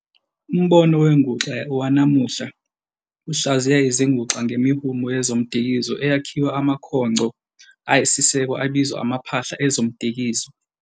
Umbono wenguxa wanamuhla uhlaziya izinguxa ngemihumo yezomdikizo eyakhiwa amakhongco ayisiseko abizwa amaphahla ezomdikizo.